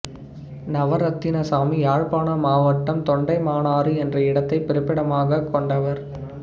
நவரத்தினசாமி யாழ்ப்பாண மாவட்டம் தொண்டைமானாறு என்ற இடத்தைப் பிறப்பிடமாகக் கொண்டவர்